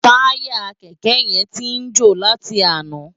Tàyá kèkè yèn ti jó láti àná